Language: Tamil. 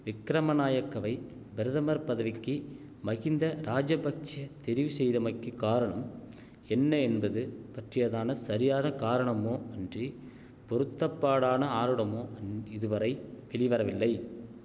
விக்கிரம நாயக்கவை பிரதமர் பதவிக்கி மகிந்த ராஜபக்ஷெ தெரிவு செய்தமைக்கிக் காரணம் என்ன என்பது பற்றியதான சரியான காரணமோ அன்றி பொருத்தப்பாடான ஆருடமோ இதுவரை வெளிவரவில்லை